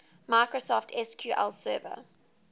microsoft sql server